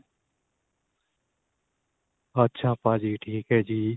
ਅੱਛਾ ਭਾਜੀ ਠੀਕ ਏ ਜੀ.